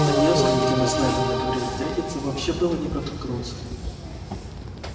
на невском где мы с найдом договорились встретиться вообще было не протолкнуться